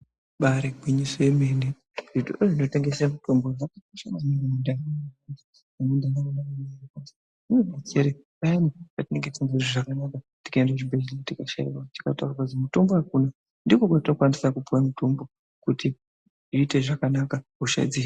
Ibari gwinyiso yemene zvitoro zvinotengese mitombo zvakakosha maningi muntaraunda ngekuti zvinodetsere payani patinenge tosingazwi zvakanaka tikaende kuchibhedhlera tikashaiwa tikataurirwa kuzi mutombo akuna ndikokwatinokwanisa kupuwa mutombo kuti tiiite zvakanaka hosha dzi.